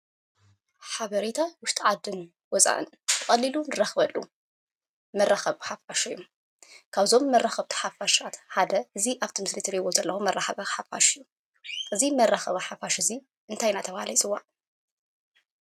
ሓበሬታን ውሽጢ ዓድን ወፃእን ብቀሊሉ ንረክበሉ መራከቢ ሓፋሽ እዩ። ካብቶም መራከብቲ ሓፋሽ ሓደ እዙይ ኣብዚ ምስሊ እትርእይዎ ዘለኩም መራከቢ ሓፋሽ እዩ። እዙይ መራከቢ ሓፋሽ እዙይ እንታይ እናተባህለ ይፅዋዕ?